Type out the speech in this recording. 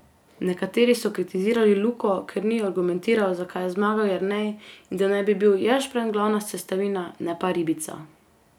Nekateri so kritizirali Luko, ker ni argumentiral, zakaj je zmagal Jernej, in da naj bi bil ješprenj glavna sestavina, ne pa ribica.